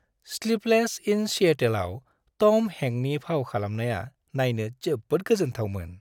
"Sleepless in सिएटोल"आव टम हेंकनि फाव खालामनाया नायनो जोबोद गोजोनथावमोन!